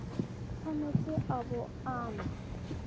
tshwanetse a bo a na